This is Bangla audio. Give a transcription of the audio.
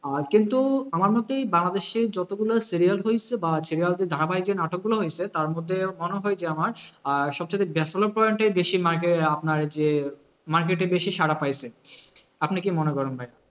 আহ কিন্তু আমার মতে বাংলাদেশী যতগুলো serial হয়েছে বা যে ধারাবাহিকে নাটকগুলো হয়েছে তারমধ্যে মনে হয় যে আমার আহ সবচাইতে point ই বেশী market এ আপনার যে market এ বেশি সারা পাইছে আপনি কি মনে করেন ভাই?